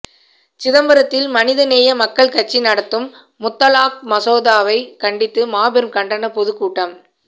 சிதம்பரத்தில் மனிதநேய மக்கள் கட்சி நடத்தும் முத்தலாக் மசோதாவை கண்டித்து மாபெரும் கண்டண பொதுக்கூட்டம்